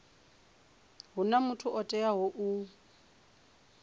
huna muthu o teaho u